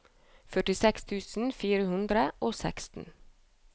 førtiseks tusen fire hundre og seksten